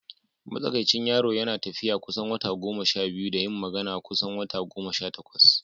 Matsakaicin yaro yana koyon tafiya kusan wata goma sha biyu da yin magana kusan wata goma sha takwas.